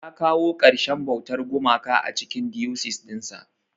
Ya kawo karshen bautar gumaka a cikin diocese dinsa.